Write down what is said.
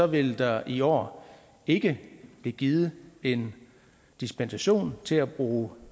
vil der i år ikke blive givet en dispensation til at bruge